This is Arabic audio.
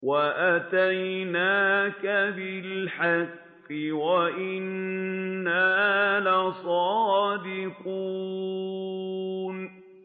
وَأَتَيْنَاكَ بِالْحَقِّ وَإِنَّا لَصَادِقُونَ